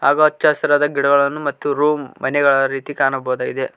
ಹಾಗೂ ಅಚ್ಚ ಹಸಿರಾದ ಗಿಡಗಳನ್ನು ಮತ್ತು ರೂಮ್ ಮನೆಗಳ ರೀತಿ ಕಾಣಬಹುದಾಗಿದೆ.